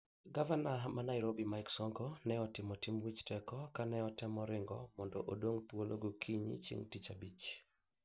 Gavana ma Nairobi, Mike Sonko ne otimo tim wich teko ka ne otemo ringo mondo odong thuolo go kinyi chieng tich abich.